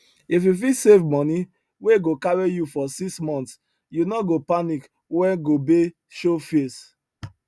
if you fit save money wey go carry you for six months you no go panic when gobe show face